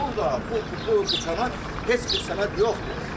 Burda bu dükanın heç bir sənəd yoxdur.